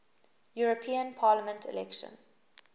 european parliament election